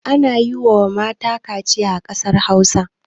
Ana yi wa mata kariciya a ƙasar Hausa.